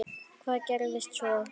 Hvað gerðist svo?